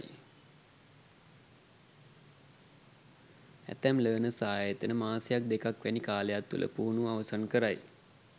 ඇතැම් ලර්නර්ස් ආයතන මාසයක් දෙකක් වැනි කාලයක් තුළ පුහුණුව අවසන් කරයි.